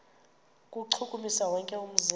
kuwuchukumisa wonke umzimba